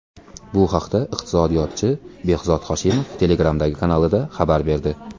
Bu haqda iqtisodiyotchi Behzod Hoshimov Telegram’dagi kanalida xabar berdi .